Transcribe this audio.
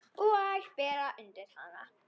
Og bera undir hana.